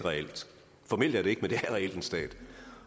formelt er det det ikke men det er reelt en stat